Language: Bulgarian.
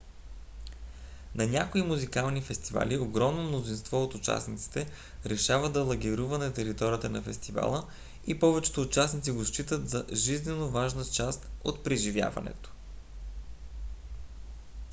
на някои музикални фестивали огромно мнозинство от участниците решава да лагерува на територията на фестивала и повечето участници го считат за жизненоважна част от преживяването